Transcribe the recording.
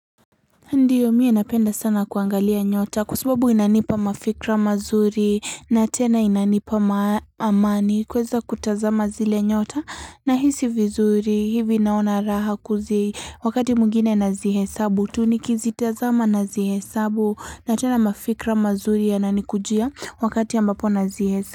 Ndiyo mie napenda sana kuangalia nyota kwa sababu inanipa mafikra mazuri na tena inanipa ma amani kueza kutazama zile nyota nahisi vizuri hivi naona raha kuzi wakati mwingine nazihesabu tu nikizitazama nazihesabu na tena mafikra mazuri yanani kujia wakati ambapo nazihesa.